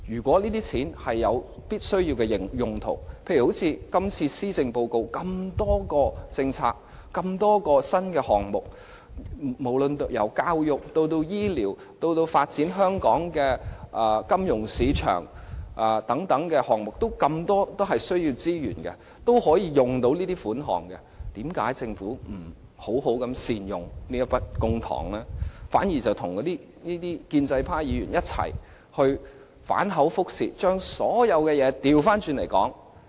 這些錢可作十分重要的用途，例如施政報告中提出了多項政策和新項目，範圍遍及教育、醫療，甚或是發展香港金融市場等，這些項目都很需要資源，需要款項，為何政府不善用這筆公帑，反而聯同建制派議員反口覆舌，將所有事情的緩急次序顛倒？